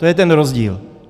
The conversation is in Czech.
To je ten rozdíl!